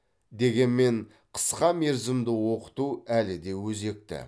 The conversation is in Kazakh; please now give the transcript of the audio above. дегенмен қысқа мерзімді оқыту әлі де өзекті